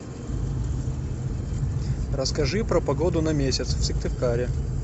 расскажи про погоду на месяц в сыктывкаре